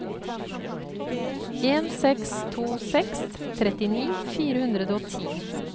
en seks to seks trettini fire hundre og ti